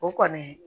O kɔni